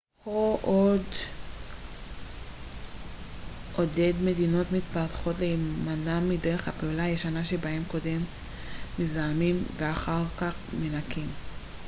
הו עודד מדינות מתפתחות להימנע מדרך הפעולה הישנה שבה קודם מזהמים ואחר כך מנקים